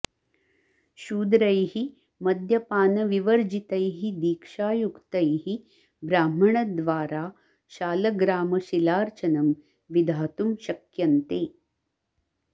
शूद्रैः मद्यपान विवर्जितैः दीक्षायुक्तैः ब्राह्मण द्वारा शालग्रामशिलार्चनम् विधातुं शक्यन्ते